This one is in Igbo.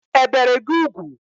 E bere gị ugwu?